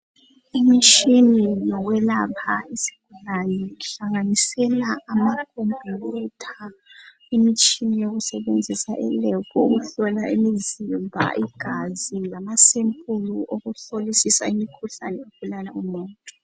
Imitshini yokwelapha izigulani ihlanganisela amakhomputha imitshina eyokusetshenzisa elebhu ukuhlola umzimba igazi lama sempulu okuhlolisisa imkhuhlane ebulala umuntu.